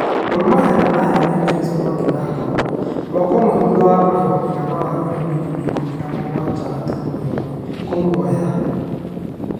Gor Mahia nĩmaheanire Lewis Mwangi na ngombo, mwaka ũmwe thutha wa kũrĩhwo mũigana wa yurũ mirioni ikũmi na mũgwanja gaturumo ĩmwe kũmuoya